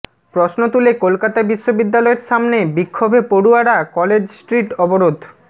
প্রশ্ন তুলে কলকাতা বিশ্ববিদ্যালয়ের সামনে বিক্ষোভে পড়ুয়ারা কলেজ স্ট্রিট অবরোধ